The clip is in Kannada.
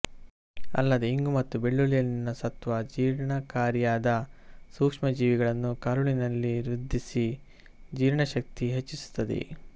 ಅಲ್ಲದೆ ಇಂಗು ಮತ್ತು ಬೆಳ್ಳುಳ್ಳಿಯಲ್ಲಿನ ಸತ್ತ್ವ ಜೀರ್ಣಕಾರಿಯಾದ ಸೂಕ್ಷ್ಮಜೀವಿಗಳನ್ನು ಕರುಳಿನಲ್ಲಿ ವೃದ್ಧಿಸಿ ಜೀರ್ಣಶಕ್ತಿ ಹೆಚ್ಚಿಸುತ್ತದೆ